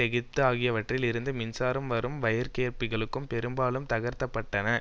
எகிப்து ஆகியவற்றில் இருந்து மின்சாரம் வரும் வயர்கேபிள்களும் பெரும்பாலும் தகர்க்க பட்டன